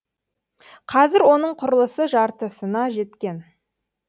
қазір оның құрылысы жартысына жеткен